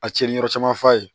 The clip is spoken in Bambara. A cɛnni yɔrɔ caman f'a ye